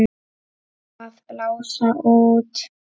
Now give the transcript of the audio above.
Að blása út.